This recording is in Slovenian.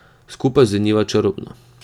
Skupaj zveniva čarobno.